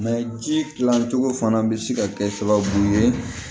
ji kilancogo fana bɛ se ka kɛ sababu ye